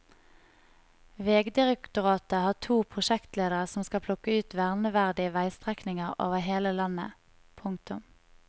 Vegdirektoratet har to prosjektledere som skal plukke ut verneverdige veistrekninger over hele landet. punktum